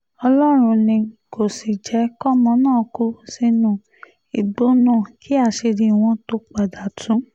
ọlọ́run ni kò sì jẹ́ kọ́mọ náà kú sínú igbó náà kí àṣírí wọn tóó padà tu